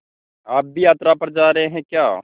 आप भी यात्रा पर जा रहे हैं क्या